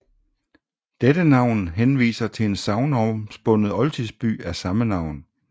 Dette navn henviser til en sagnomspundet oldtidsby af samme navn